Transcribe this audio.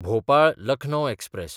भोपाळ–लखनौ express